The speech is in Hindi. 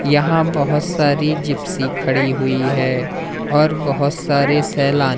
यहां बहुत सारी जिप्सी खड़ी हुई है और बहुत सारे सैलान--